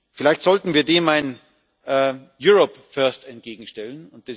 Vielleicht sollten wir dem ein Europe First entgegenstellen.